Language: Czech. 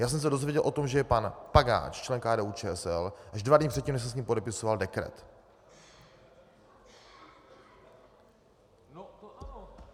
Já jsem se dozvěděl o tom, že je pan Pagáč členem KDU-ČSL, až dva dny předtím, než jsem s ním podepisoval dekret.